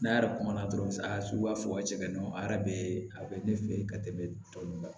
N'a yɛrɛ kuma na dɔrɔn a sugu b'a fɔ ka cɛ ka don a yɛrɛ bɛ a bɛ ne fɛ yen ka tɛmɛ tɔ ninnu kan